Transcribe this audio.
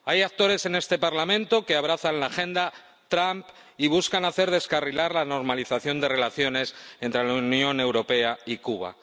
Hay actores en este Parlamento que abrazan la agenda Trump y buscan hacer descarrilar la normalización de relaciones entre la Unión Europea y Cuba.